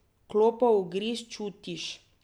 Klopov ugriz čutiš.